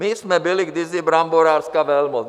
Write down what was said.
My jsme byli kdysi bramborářská velmoc.